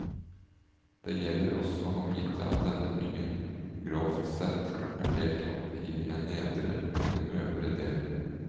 Det gjelder også å vite at denne byen grovt sett er delt opp i en nedre og en øvre del.